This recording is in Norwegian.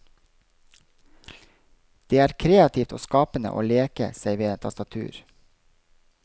Det er kreativt og skapende å leke seg ved et tastatur.